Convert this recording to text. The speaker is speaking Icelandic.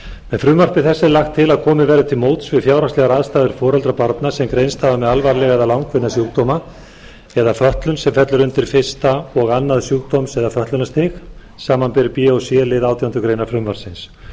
með frumvarpi þessu er lagt til að komið verði til móts við fjárhagslegar aðstæður foreldra barna sem greinst hafa með alvarlega eða langvinna sjúkdóma eða fötlun sem fellur undir fyrstu og annars sjúkdóms eða fötlunarstig samanber b og c lið átjándu grein frumvarpsins